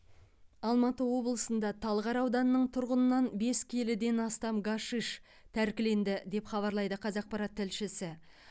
алматы облысында талғар ауданының тұрғынынан бес келіден астам гашиш тәркіленді деп хабарлайды қазақпарат тілшісі